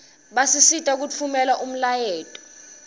basisita kutfumela umlayeto